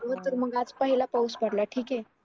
खरं तर मग आज पहिला पाऊस पडला ठीक आहे